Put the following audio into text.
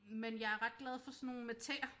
Men jeg er ret glad for sådan nogle med tæer